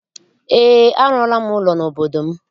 Ee, arụọla m ụlọ n'obodo m.